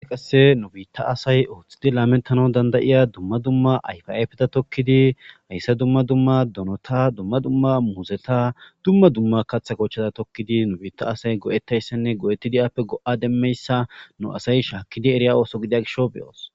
I qasse nu biitta asay ooththidi laamentano dandayiya dumma dumma ayfaapeda tokkidi hayssa dumma dumma donota dumma dumma muuzeta dumma dumma kaththa kochchada tokkidi nu biitta asay go'ettayssenne go7etti di'aappe go'a demmeyssa nu asay shaakkidi eriya ooso gidia gisho beyoos.